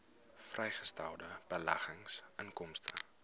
vrygestelde beleggingsinkomste